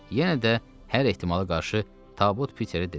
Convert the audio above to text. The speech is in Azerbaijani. Yenə də hər ehtimala qarşı Tabut Piterə dedim: